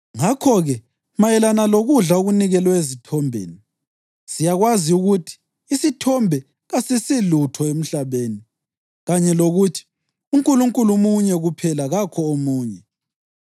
Ngakho-ke, mayelana lokudla okunikelwe ezithombeni: Siyakwazi ukuthi “Isithombe kasisilutho emhlabeni” kanye lokuthi “UNkulunkulu munye kuphela kakho omunye.”